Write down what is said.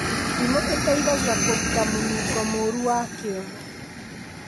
Ndimũ iteithagia kũruta mũnongo mũro wa kĩoro